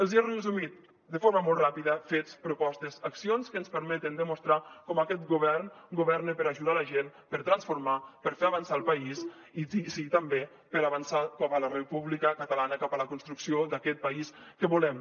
els he resumit de forma molt ràpida fets propostes accions que ens permeten demostrar com aquest govern governa per ajudar la gent per transformar per fer avançar el país i sí també per avançar cap a la república catalana cap a la construcció d’aquest país que volem